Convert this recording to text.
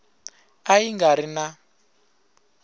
a ya nga ri na